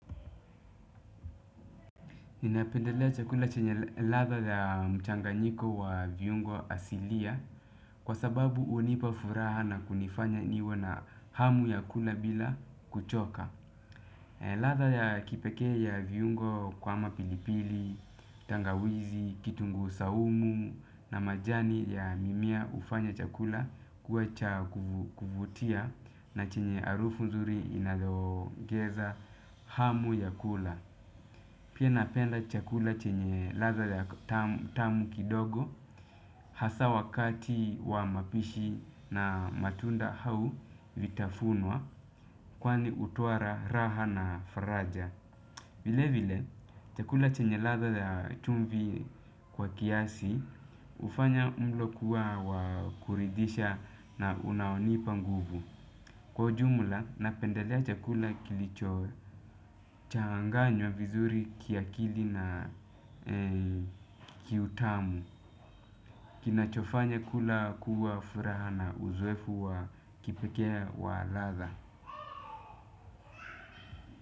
Ninapendelea chakula chenye ladha ya mchanganyiko wa viungo asilia kwasababu hunipa furaha na kunifanya niwe na hamu ya kula bila kuchoka. Ladha ya kipekee ya viungo kama pilipili, tangawizi, kitunguu swaumu na majani ya mimea hufanya chakula kuwa cha kuvutia na chenye harufu nzuri inayoongeza hamu ya kula. Pia napenda chakula chenye ladha tamu kidogo hasa wakati wa mapishi na matunda au vitafunwa kwani hutoa raha na faraja. Vile vile chakula chenye ladha ya chumvi kwa kiasi hufanya mlo kuwa wa kuridhisha na unaonipa nguvu. Kwa ujumla, napendelea chakula kilichochanganywa vizuri kiakili na kiutamu. Kinachofanya kula kuwa furaha na uzoefu wa kipekee wa ladha.